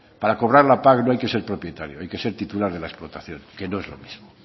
para cobrar la pac no hay que ser propietario hay que ser titular de la explotación que no es lo mismo